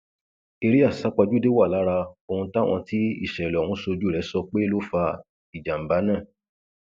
eré àsápajúdé wà lára ohun táwọn tí ìṣẹlẹ ọhún ṣojú rẹ sọ pé ló fa ìjàmbá náà